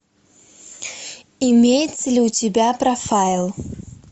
имеется ли у тебя профайл